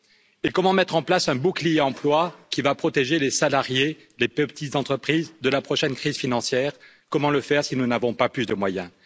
Et comment mettre en place un bouclier emploi qui va protéger les salariés des plus petites entreprises de la prochaine crise financière, comment le faire si nous n'avons pas plus de moyens?